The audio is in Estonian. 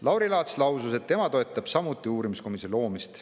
Lauri Laats lausus, et tema toetab samuti uurimiskomisjoni loomist.